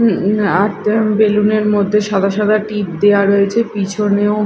উম উ আর তেমন বেলুন -এর মদ্যে সাদা সাদা টিপ দেওয়া রয়েছে পিছনেও--